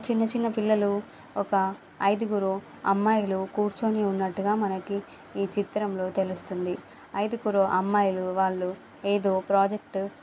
చిన్న చిన్న పిల్లలూ ఒక ఐదుగురు అమ్మాయిలు కూర్చొని ఉన్నట్టుగా మనకి ఈ చిత్రంలో తెలుస్తుంది. ఐదుగురు అమ్మాయిలు వాళ్ళు ఏదో ప్రాజెక్ట్